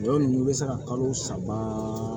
Dɔw bɛ se ka kalo saba